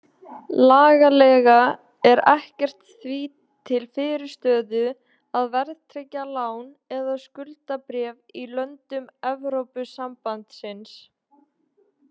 Lagalega er ekkert því til fyrirstöðu að verðtryggja lán eða skuldabréf í löndum Evrópusambandsins.